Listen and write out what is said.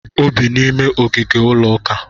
O bi n'ime ogige ụlọuka